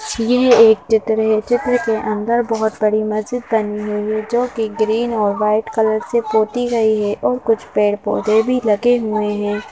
यहएक चित्र है चित्र के अंदर बहुत बड़ी मस्जिद बनी है जो कि ग्रीन और वाइट कलर से पोती गई है और कुछ पेड़ पौधे भी लगे।